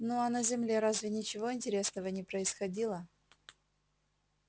ну а на земле разве ничего интересного не происходило